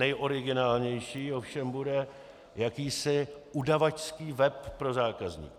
Nejoriginálnější ovšem bude jakýsi udavačský web pro zákazníky.